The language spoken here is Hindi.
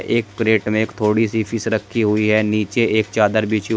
एक क्रेट में एक थोड़ी सी फिश रखी हुई है नीचे एक चादर बिछी हु--